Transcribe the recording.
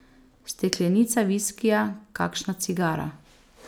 Steklenica viskija, kakšna cigara ...